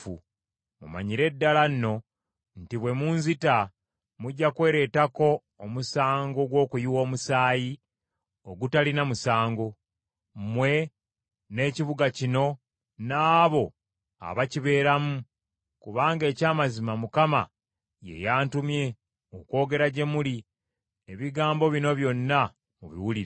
Mumanyire ddala nno nti bwe munzita, mujja kwereetako omusango gw’okuyiwa omusaayi ogutalina musango, mmwe n’ekibuga kino n’abo abakibeeramu, kubanga eky’amazima Mukama ye yantumye okwogera gye muli ebigambo bino byonna mubiwulire.”